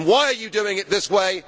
Why are you doing it this way?